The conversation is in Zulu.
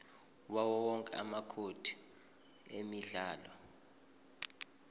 yawowonke amacode emidlalo